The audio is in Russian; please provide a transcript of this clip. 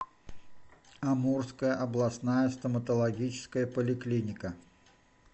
амурская областная стоматологическая поликлиника